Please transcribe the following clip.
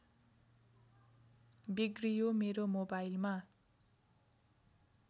बिग्रियो मेरो मोबाइलमा